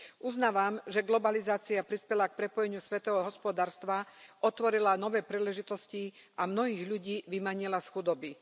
Uznávam, že globalizácia prispela k prepojeniu svetového hospodárstva, otvorila nové príležitosti a mnohých ľudí vymanila z chudoby.